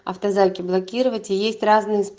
автозаки блокировать и есть разные инст